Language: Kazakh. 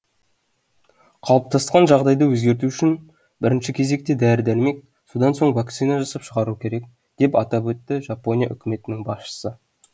қалыптасқан жағдайды өзгерту үшін бірінші кезекте дәрі дәрмек содан соң вакцина жасап шығару керек деп атап өтті жапония үкіметінің басшысы